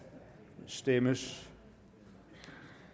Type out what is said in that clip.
stemmes